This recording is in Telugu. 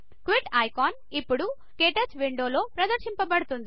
క్విట్ ఐకాన్ ఇప్పుడు క్టచ్ విండో లో ప్రదర్శించబడుతుంది